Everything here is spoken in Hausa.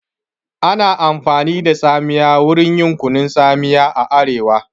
Ana amfani da tsamiya wurin yin kunun tsamiya a arewa